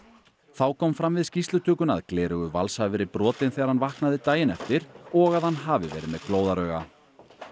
þá kom fram við skýrslutökuna að gleraugu Vals hafi verið brotin þegar hann vaknaði daginn eftir og að hann hafi verið með glóðarauga